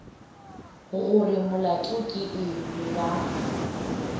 gore molato ke eng ba